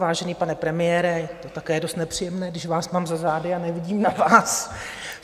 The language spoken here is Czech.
Vážený pane premiére, je to také dost nepříjemné, když vás mám za zády a nevidím na vás.